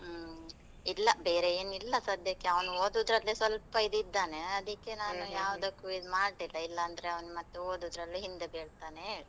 ಹ್ಮ್, ಇಲ್ಲ ಬೇರೇನು ಇಲ್ಲ ಸದ್ಯಕ್ಕೆ, ಅವನು ಓದುದ್ರಲ್ಲೇ ಸ್ವಲ್ಪ ಇದ್ ಇದ್ದಾನೆ, ಅದಿಕ್ಕೆ ನಾನು ಯಾವುದಕ್ಕೂ ಇದ್ ಮಾಡ್ಲಿಲ್ಲ, ಇಲ್ಲಾಂದ್ರೆ ಅವ್ನು ಮತ್ತು ಓದುದ್ರಲ್ಲಿ ಹಿಂದೆ ಬೀಳ್ತಾನೆ ಹೇಳಿ.